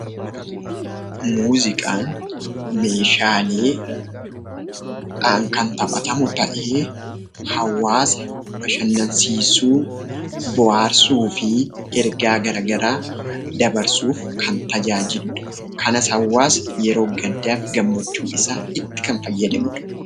Muuziqaan meeshaaleedhaan kan taphatamu ta'ee hawaasa bashannansiisuu, bohaarsuu fi ergaa garagaraa dabarsuuf kan tajaajilu dha. Kanas hawaasni yeroo gaddaa fi gammachuu isaa itti kan fayyadamu dha.